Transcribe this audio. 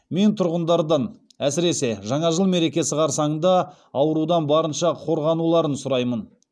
мен тұрғындардан әсіресе жаңа жыл мерекесі қарсаңында аурудан барынша қорғануларын сұраймын